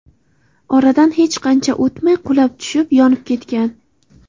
Oradan hech qancha o‘tmay qulab tushib, yonib ketgan.